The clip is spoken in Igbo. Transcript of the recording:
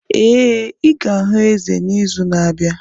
Ee, ị ga-ahụ eze n'izu na-abịa